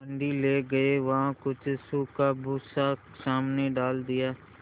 मंडी ले गये वहाँ कुछ सूखा भूसा सामने डाल दिया